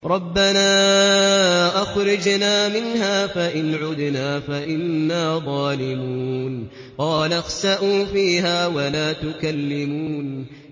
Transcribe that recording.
رَبَّنَا أَخْرِجْنَا مِنْهَا فَإِنْ عُدْنَا فَإِنَّا ظَالِمُونَ